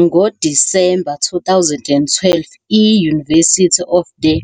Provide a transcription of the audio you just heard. NgoDisemba 2012, i-University of the